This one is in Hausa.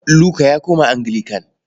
Luka ya koma Anglican.